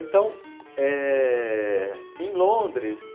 Então, eh... em Londres...